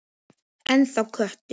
Ennþá köttur.